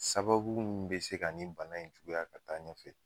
Sababu mun be se ka nin bana in juguya ka taa ɲɛfɛ